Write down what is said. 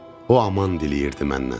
O aman diləyirdi məndən.